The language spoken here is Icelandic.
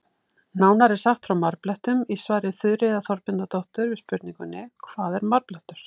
Nánar er sagt frá marblettum í svari Þuríðar Þorbjarnardóttur við spurningunni Hvað er marblettur?